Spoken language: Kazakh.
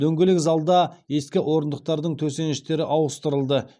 дөңгелек залда ескі орындықтардың төсеніштері ауыстырылды